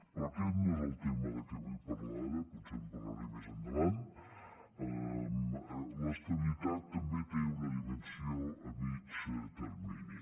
però aquest no és el tema de què vull parlar ara potser en parlaré més endavant l’estabilitat també té una dimensió a mitjà termini